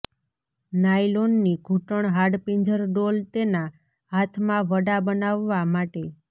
નાયલોનની ઘૂંટણ હાડપિંજર ડોલ તેના હાથમાં વડા બનાવવા માટે